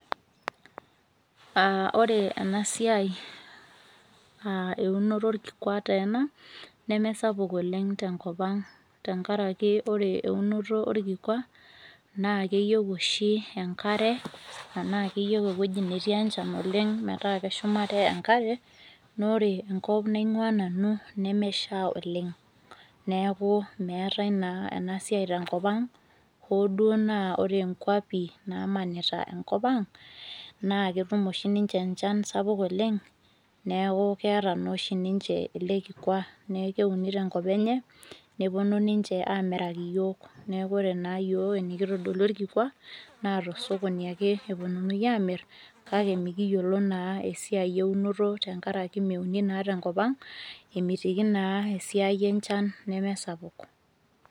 aa ore ena siai, aa eunoto orkikua taa ena, neme sapuk oleng. tenkop ang tenkaraki ore eunoto orkikua naa keyieu oshi enkare, anaa keyieu ewueji netii enchan oleng metaa keshumare enkare. naa ore enkop naing'uaa nanu nemesha oleng. neeku meetae naa ena siiai tenkop ang, hoo duoo naa ore nkuapi naamanita enkop ang. naa ketum oshi ninche enchan sapuk oleng, neeku keeta oshi ninche enchan sapuk oleng neeku keeta oshi ninche ele kikua neeku keuni tenkop enye, neepuonu ninche aamiraki iyiook, neeku ore naa iyiook enikitodolio orkikua naa tosokoni ake epuonunui aaamir, kake ikiyiolo naa esiia eunoto tenkaraki meuni naa tenkop ang. emitiki naa esiaii enchan nemesapuk.